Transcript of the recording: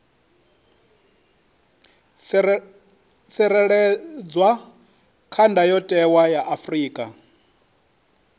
tsireledzwa kha ndayotewa ya afrika